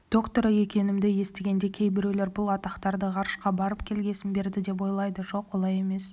докторы екенімді естігенде кейбіреулер бұл атақтарды ғарышқа барып келгесін берді деп ойлайды жоқ олай емес